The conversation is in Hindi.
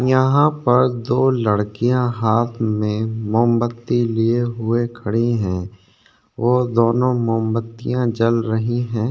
यहाँ पर दो लड़किया हाथ में मोमबत्ती लिए हुए खड़ीं है और दोनों मोमबत्तिया जल रही है।